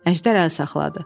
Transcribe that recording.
Əjdər əl saxladı.